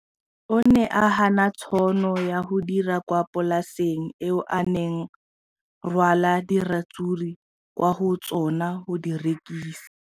O ne a gana tšhono ya go dira kwa polaseng eo a neng rwala diratsuru kwa go yona go di rekisa.